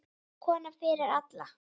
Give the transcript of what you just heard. Kona fyrri alda.